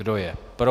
Kdo je pro?